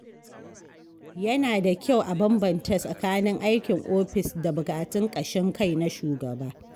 Yana da kyau a bambanta tsakanin aikin ofis da buƙatun ƙashin kai na shugaba.